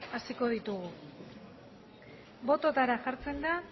hasiko ditugu botoetara jartzen dira